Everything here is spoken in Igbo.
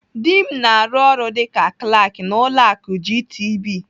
Dị m na-arụ ọrụ dịka Klak n'ụlọ akụ GTB.